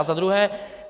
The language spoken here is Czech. A za druhé.